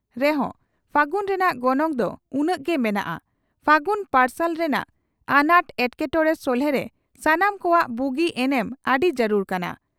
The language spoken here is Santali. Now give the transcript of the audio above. ᱨᱮᱦᱚᱸ ᱯᱷᱟᱹᱜᱩᱱ ᱨᱮᱱᱟᱜ ᱜᱚᱱᱚᱝ ᱫᱚ ᱩᱱᱟᱹᱝ ᱜᱮ ᱢᱮᱱᱟᱜᱼᱟ ᱾ᱯᱷᱟᱜᱩᱱ ᱯᱟᱨᱥᱟᱞ ᱨᱮᱱᱟᱜ ᱟᱱᱟᱴ ᱮᱴᱠᱮᱴᱚᱲᱮ ᱥᱚᱞᱦᱮᱨᱮ ᱥᱟᱱᱟᱢ ᱠᱚᱣᱟᱜ ᱵᱩᱜᱤ ᱮᱱᱮᱢ ᱟᱹᱰᱤ ᱡᱟᱨᱩᱲ ᱠᱟᱱᱟ